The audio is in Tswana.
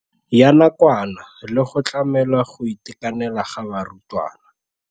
Ya nakwana le go tlamela go itekanela ga barutwana.